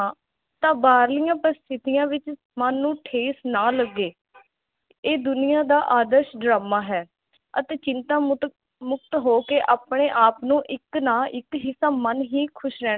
ਤਾਂ ਬਾਹਰਲੀਆਂ ਪ੍ਰਸਥਿਤੀਆਂ ਵਿਚ ਮੰਨ ਨੂੰ ਠੇਸ ਨਾ ਲੱਗੇ ਇਹ ਦੁਨੀਆ ਦਾ ਆਦਰਸ਼ ਡਰਾਮਾ ਹੈ ਅਤੇ ਚਿੰਤਾ ਮੁਤਕ ਮੁਕਤ ਹੋ ਕੇ ਆਪਣੇ ਆਪ ਨੂੰ ਇਕ ਨਾ ਇਕ ਤਾਂ ਮੰਨ ਹੀ ਖੁਸ਼ ਰਹਿਣਾ